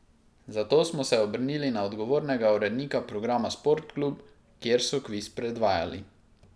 Zato smo se obrnili na odgovornega urednika programa Sport klub, kjer so kviz predvajali.